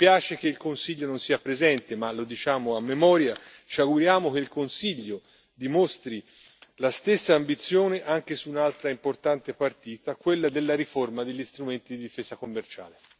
Mi spiace che il Consiglio non sia presente ma, lo diciamo a memoria, ci auguriamo che il Consiglio dimostri la stessa ambizione anche su un'altra importante partita, quella della riforma degli strumenti di difesa commerciale.